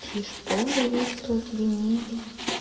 и шпоры весело звенели